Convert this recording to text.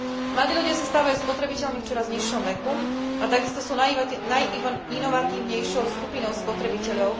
Mladí ľudia sa stávajú spotrebiteľmi v čoraz nižšom veku a takisto sú najinovatívnejšou skupinou spotrebiteľov.